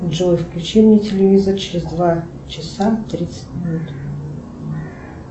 джой включи мне телевизор через два часа тридцать минут